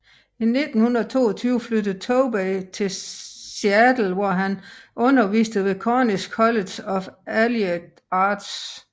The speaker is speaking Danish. I 1922 flyttede Tobey til Seattle hvor han underviste ved Cornish College of Allied Arts